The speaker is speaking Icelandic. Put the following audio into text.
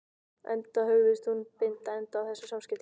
Enda hugðist hann nú binda enda á þessi samskipti þeirra.